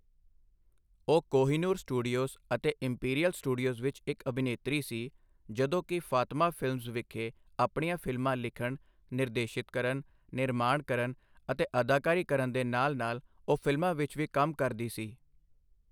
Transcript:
ਉਹ ਕੋਹਿਨੂਰ ਸਟੂਡੀਓਜ਼ ਅਤੇ Imperial Studios ਵਿੱਚ ਇੱਕ ਅਭਿਨੇਤਰੀ ਸੀ, ਜਦੋਂ ਕਿ ਫਾਤਮਾ ਫ਼ਿਲਮਜ਼ ਵਿਖੇ ਆਪਣੀਆਂ ਫ਼ਿਲਮਾਂ ਲਿਖਣ, ਨਿਰਦੇਸ਼ਿਤ ਕਰਨ, ਨਿਰਮਾਣ ਕਰਨ ਅਤੇ ਅਦਾਕਾਰੀ ਕਰਨ ਦੇ ਨਾਲ ਨਾਲ ਉਹ ਫ਼ਿਲਮਾਂ ਵਿੱਚ ਵੀ ਕੰਮ ਕਰਦੀ ਸੀ।